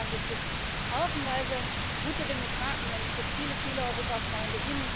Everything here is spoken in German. In Ungarn gibt es haufenweise gute Demokraten, und es gibt viele, viele Europafreunde.